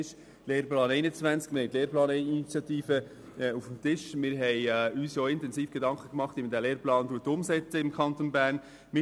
Wir haben uns intensiv Gedanken darüber gemacht, wie man den Lehrplan 21 im Kanton Bern umsetzen will.